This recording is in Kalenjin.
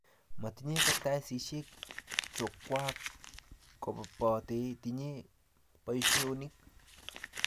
matinye kartasishek chokwok kopate tinye poishonik